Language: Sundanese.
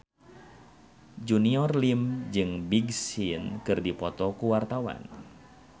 Junior Liem jeung Big Sean keur dipoto ku wartawan